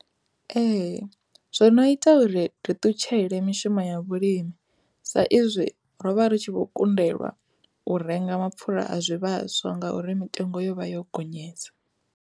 Ee, zwo no ita uri ri ṱutshele mishumo ya vhulimi sa izwi ro vha ri tshi vho kundelwa u renga mapfhura a zwivhaswa ngauri mitengo yo vha yo gonyesa.